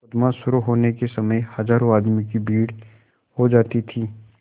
मुकदमा शुरु होने के समय हजारों आदमियों की भीड़ हो जाती थी